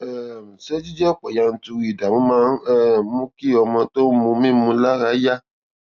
um ṣé jíjẹ òpò yanturu ìdààmú máa ń um mú kí ọmọ tó ń mu mímu lára yá